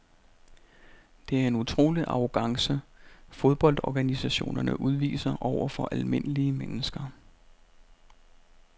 Det er en utrolig arrogance fodboldorganisationerne udviser over for almindelige mennesker.